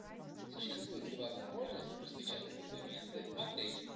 существует ли возможность распечатать документы в отеле